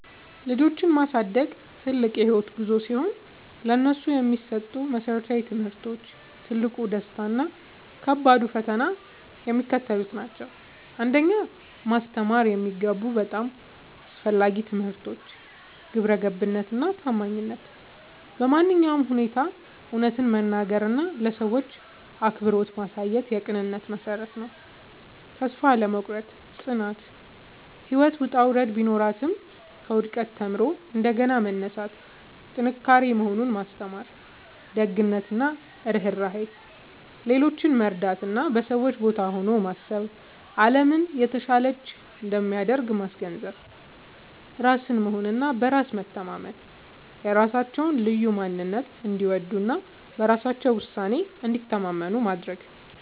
ልጆችን ማሳደግ ትልቅ የህይወት ጉዞ ሲሆን፥ ለነሱ የሚሰጡ መሰረታዊ ትምህርቶች፣ ትልቁ ደስታ እና ከባዱ ፈተና የሚከተሉት ናቸው 1. ማስተማር የሚገቡ በጣም አስፈላጊ ትምህርቶች ግብረገብነት እና ታማኝነት በማንኛውም ሁኔታ እውነትን መናገር እና ለሰዎች አክብሮት ማሳየት የቅንነት መሠረት ነው። ተስፋ አለመቁረጥ (ጽናት)፦ ህይወት ውጣ ውረድ ቢኖራትም፣ ከውድቀት ተምሮ እንደገና መነሳት ጥንካሬ መሆኑን ማስተማር። ደግነት እና ርህራሄ፦ ሌሎችን መርዳት እና በሰዎች ቦታ ሆኖ ማሰብ አለምን የተሻለች እንደሚያደርግ ማስገንዘብ። ራስን መሆን እና በራስ መተማመን፦ የራሳቸውን ልዩ ማንነት እንዲወዱ እና በራሳቸው ውሳኔ እንዲተማመኑ ማድረግ።